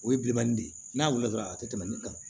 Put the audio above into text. O ye bilenmanin de ye n'a wulila dɔrɔn a tɛ tɛmɛ ne kan